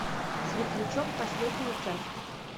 светлячок последняя часть